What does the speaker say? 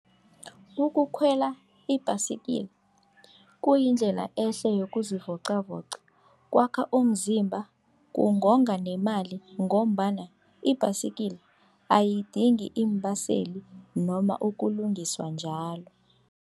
Ukukhwela ibhasikila kuyindlela ehle yokuzivocavoca, kwakha umzimba, kungonga nemali ngombana ibhasikila ayidingi iimbaseli noma ukulungiswa njalo.